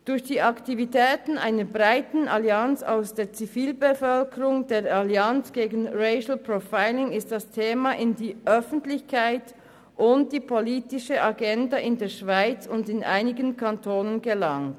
Durch die Aktivitäten einer breiten Allianz aus der Zivilbevölkerung, der Allianz gegen Racial Profiling, ist das Thema in die Öffentlichkeit und auf die politische Agenda in der Schweiz und in einigen Kantonen gelangt.